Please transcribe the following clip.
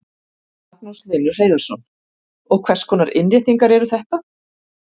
Magnús Hlynur Hreiðarsson: Og hvers konar innréttingar eru þetta?